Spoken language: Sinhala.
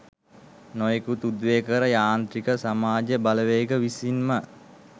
නොයෙකුත් උද්වේගකර යාන්ත්‍රික සමාජ බලවේග විසින්ම